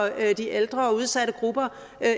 de ældre og udsatte grupper